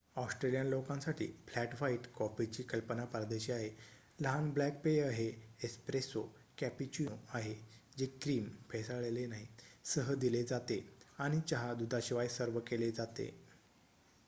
Australian लोकांसाठी 'flat white' कॉफीची कल्पना परदेशी आहे. लहान ब्लॅक पेय हे 'एस्प्रेसो' कॅपुचीनो आहे जे क्रीम फेसाळलेले नाही सह दिले जाते आणि चहा दुधाशिवाय सर्व्ह केले जाते